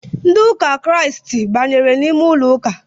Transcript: Ndị ụka kiriasti banyere ime ụlọụka